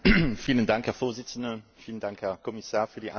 Herr Präsident! Vielen Dank, Herr Kommissar, für die Antwort.